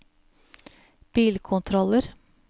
bilkontroller